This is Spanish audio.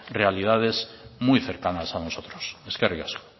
realidades muy cercanas a nosotros eskerrik asko